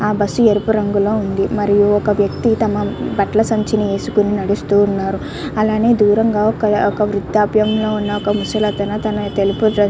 అ bus ఎరుపు రంగులో ఉంది మరియు ఒక వ్యక్తి తన బట్లసంచిని వేసుకొని నడుస్తూన్నారు అలానే దూరంగా ఒక అక్ వృధాప్యంలో ఉన్న ఒక ముసలి అతను --